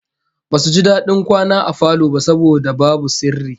Basu ji dadin kwana a falo ba saboda babu sirri